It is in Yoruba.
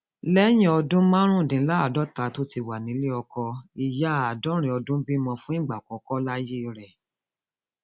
lẹyìn ọdún márùndínláàádọta tó ti wà nílé ọkọ ìyá àádọrin ọdún bímọ fún ìgbà àkọkọ láyé rẹ